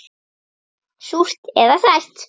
Súrt eða sætt.